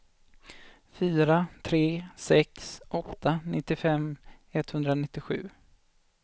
fyra tre sex åtta nittiofem etthundranittiosju